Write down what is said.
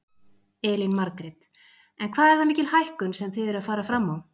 Elín Margrét: En hvað er það mikil hækkun sem þið eruð að fara fram á?